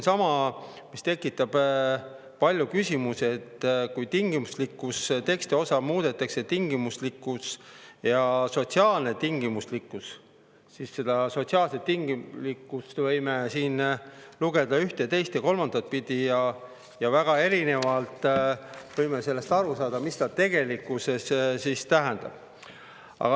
Samuti tekitab palju küsimusi see, et kui tingimuslikkuse tekstiosa muudetakse ja sotsiaalne tingimuslikkus, siis seda sotsiaalset tingimuslikkust võime siin lugeda ühte ja teist ja kolmandat pidi ning väga erinevalt võime aru saada, mida see siis tegelikkuses tähendab.